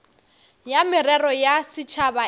ya merero ya setšhaba e